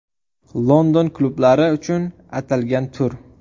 London klublari uchun atalgan tur.